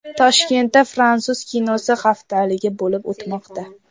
Toshkentda fransuz kinosi haftaligi bo‘lib o‘tmoqda.